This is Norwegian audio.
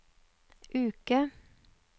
uke